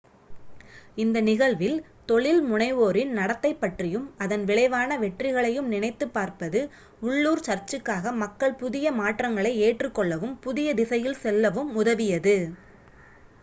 இந்த நிகழ்வில் தொழில் முனைவோரின் நடத்தை பற்றியும் அதன் விளைவான வெற்றிகளையும் நினைத்துப் பார்ப்பது உள்ளூர் சர்சுக்காக மக்கள் புதிய மாற்றங்களை ஏற்றுக் கொள்ளவும் புதிய திசையில் செல்லவும் உதவியது